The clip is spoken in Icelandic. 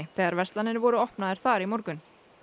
þegar verslanir voru opnaðar þar í morgun